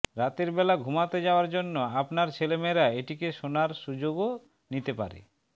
রাতের বেলা ঘুমাতে যাওয়ার জন্য আপনার ছেলেমেয়েরা এটিকে শোনার সুযোগও নিতে পারে